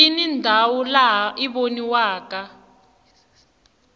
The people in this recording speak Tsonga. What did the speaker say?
yini ndhawu lawa i voniwaka